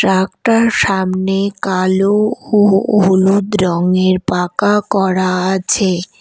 Truck -টার সামনে কালো ও ও হলুদ রঙের পাকা করা আছে।